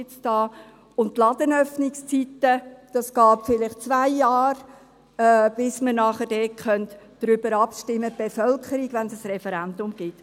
Die Ladenöffnungszeiten, bei diesen geht es vielleicht zwei Jahre, bis wir, die Bevölkerung, darüber abstimmen können, wenn es ein Referendum gibt.